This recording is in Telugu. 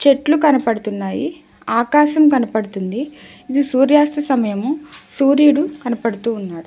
చెట్లు కనపడుతున్నాయి ఆకాశం కనబడుతుంది ఇది సూర్యాస్తమయం సూర్యుడు కనపడుతూ ఉన్నాడు.